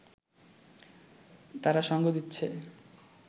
তারা সঙ্গ দিচ্ছে